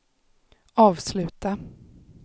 avsluta